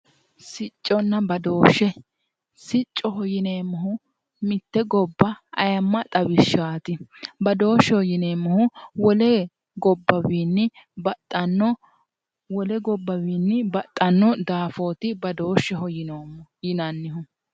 Sicconna badooshshe siccoho yineemmohu mitte gobba ayeemma xawishshaati badooshsheho yineemmohu wole gobbawiinni baxxanno daafooti badooshsheyo yinannihu